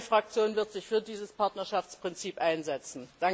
Meine Fraktion wird sich für dieses Partnerschaftsprinzip einsetzen.